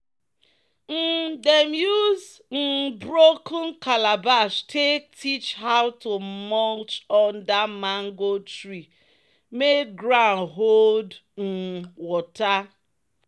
um "dem use um broken calabash take teach how to mulch under mango tree make ground hold um water."